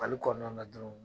Mali kɔnɔna na dɔrɔn